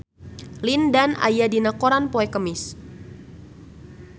Lin Dan aya dina koran poe Kemis